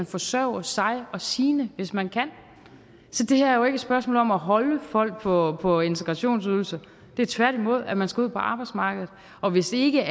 forsørge sig og sine hvis man kan så det her er jo ikke et spørgsmål om at holde folk på på integrationsydelse men tværtimod at man skal ud på arbejdsmarkedet og hvis ikke